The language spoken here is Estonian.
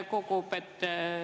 Kuidas saab neid samme tõlgendada?